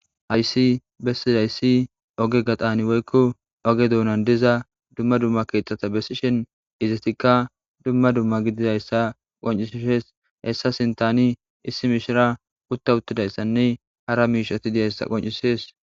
Hayssi bessizayssi ooge gaxan woykko ooge dunan diza dumma dumma keththata besishin izetikka dumma dumma gididayssa qonccisishe hessa sinttanni mishira uutta uuttidayssanne hara miishshata dizayssa qoncisishes